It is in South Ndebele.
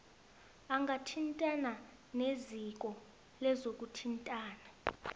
angathintana neziko lezokuthintana